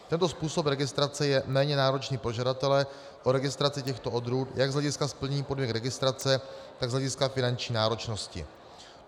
Tento způsob registrace je méně náročný pro žadatele o registraci těchto odrůd jak z hlediska splnění podmínek registrace, tak z hlediska finanční náročnosti.